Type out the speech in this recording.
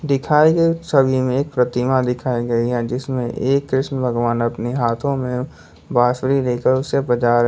दिखाए गए छवि में एक प्रतिमा दिखाई गई है जिसमें एक कृष्ण भगवान अपने हाथों में बांसुरी लेकर उसे बजा रहे--